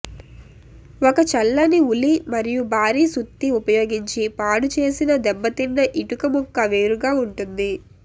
ఒక చల్లని ఉలి మరియు భారీ సుత్తి ఉపయోగించి పాడుచేసిన దెబ్బతిన్న ఇటుక ముక్క వేరుగా ఉంటుంది